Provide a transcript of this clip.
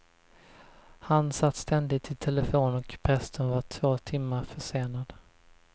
Han satt ständigt i telefon och prästen var två timmar försenad.